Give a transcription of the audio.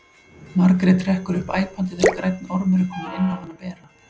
Margrét hrekkur upp æpandi þegar grænn ormur er kominn inn á hana bera.